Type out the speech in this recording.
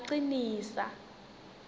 ngacinisa